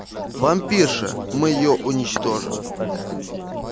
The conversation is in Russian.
вампирша мы её уничтожим